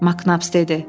Maknabs dedi.